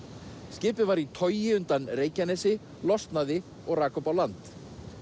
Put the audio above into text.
skipið var í togi undan Reykjanesi losnaði og rak upp á land